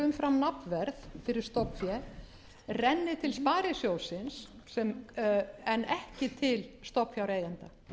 umfram nafnverð fyrir stofnfé renni til sparisjóðsins en ekki til til stofnfjáreigenda